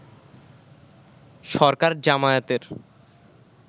সরকার জামায়াতের